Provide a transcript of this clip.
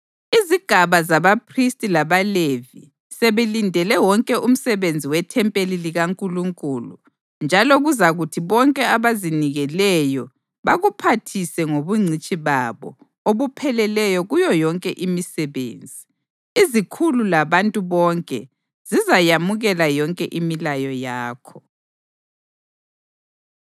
Izigaba zabaphristi labaLevi sebelindele wonke umsebenzi wethempeli likaNkulunkulu, njalo kuzakuthi bonke abazinikeleyo bakuphathise ngobungcitshi babo obupheleleyo kuyo yonke imisebenzi. Izikhulu labantu bonke zizayamukela yonke imilayo yakho.”